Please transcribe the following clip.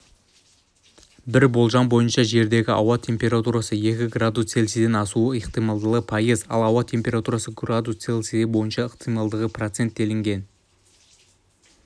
бір болжам бойынша жердегі ауа температурасы екі градус цельсиядан асуының ықтималдығы пайыз ал ауа температурасы градус цельсия болуының ықтималдығы процент делінген